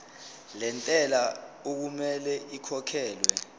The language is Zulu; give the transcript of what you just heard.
lentela okumele ikhokhekhelwe